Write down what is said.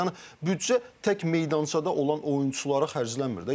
Yəni büdcə tək meydançada olan oyunçulara xərclənmir də.